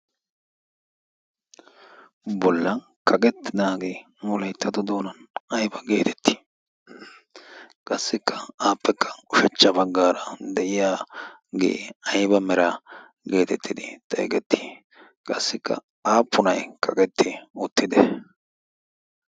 bolla kaqettinaagee wolayttato doonan ayba geetettii qassikka aappekka ushachcha baggaara de'iya gee ayba mera geetettidi xaigettii qassikka aappunay kagetti uttide